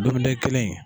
Dumunikɛ kelen